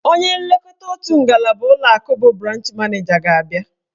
Onye nlekọta otu ngalaba ụlọakụ bụ branch maneja ga-abịa.